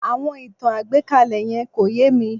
Àwọn ìtàn àgbékalẹ̀ yẹn kò yé mi